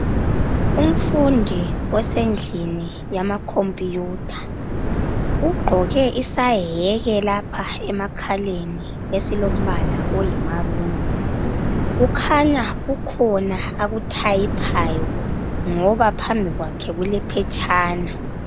Umfundi osendlini yama computer. Ugqoke isayeke lapha emakhaleni esilombala oyi maroon. Kukhanya kukhona akuthayiphayo ngoba phambi kwakhe kulephetshana.